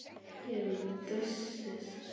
Ég er dösuð.